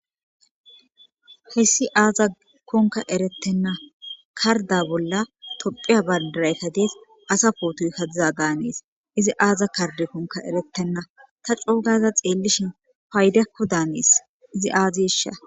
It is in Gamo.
Hayssi azakonka eretena karda bolla tophphiya bandirayka dees asa potoyka dizada hanes izi aaza kardekonka eretena ta coo gaada xeelishin faydakko dan hanees izi azesha.